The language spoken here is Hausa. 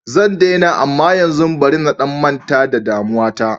Zan daina amma yanzu bari na manta da damuwa ta.